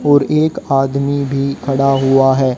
और एक आदमी भी खड़ा हुआ है।